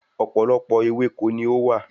Ọ̀pọ̀lọpọ̀ ewéko ni ó wà